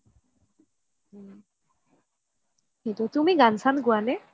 সেইটো তুমি গান চান গুৱা নে ?